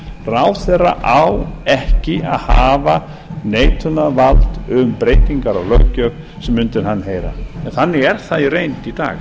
ráðherra á ekki að hafa neitunarvald um breytingar á löggjöf sem undir hann heyra en þannig er það í reynd í dag